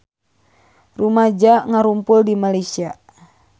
Rumaja ngarumpul di Malaysia